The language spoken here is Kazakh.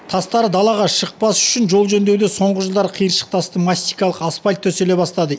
тастары далаға шықпас үшін жол жөндеуде соңғы жылдары қиыршық тасты мастикалық асфальт төселе бастады